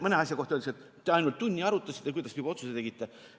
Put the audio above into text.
Mõne asja kohta öeldakse, et te ainult tunni arutasite, kuidas te juba otsuse tegite.